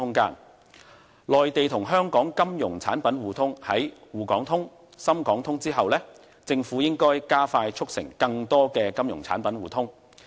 談到內地與香港金融產品的互通，政府在"滬港通"、"深港通"之後，應加快促成更多的金融產品互通。